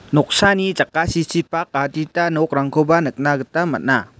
noksani jakasichipak adita nokrangkoba nikna gita man·a.